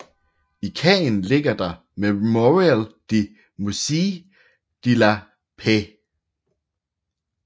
I Caen ligger der Mémorial med Musée de la paix